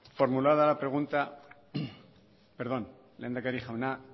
formulada la pregunta perdón lehendakari jauna